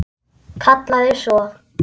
Kallaði svo: